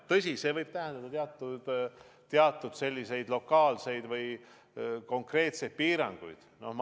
Tõsi, see võib tähendada teatud lokaalseid või muid konkreetseid piiranguid.